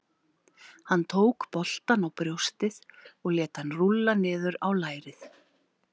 Hann tók boltann á brjóstið og lét hann rúlla niður á lærið.